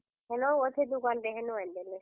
ହେନ ଅଛେ ଦୁକାନ ଟେ, ହେନୁ ଏନ୍ ଦେଲେ।